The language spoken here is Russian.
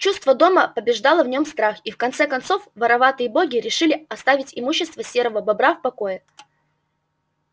чувство дома побеждало в нем страх и в конце концов вороватые боги решили оставить имущество серого бобра в покое